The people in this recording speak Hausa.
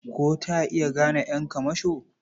Ko ta iya gane ƴan kamasho?